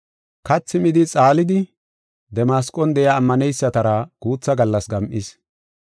Kathi midi xaalidi, Damasqon de7iya ammaneysatara guutha gallas gam7is.